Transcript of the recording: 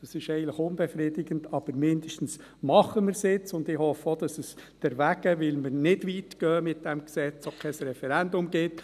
Das ist eigentlich unbefriedigend, aber zumindest machen wir es jetzt, und ich hoffe auch, dass es deswegen – weil wir nicht weit gehen mit diesem Gesetz – auch kein Referendum gibt.